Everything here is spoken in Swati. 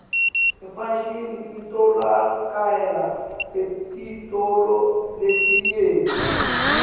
ifashini itfolakala etitolo letinyenti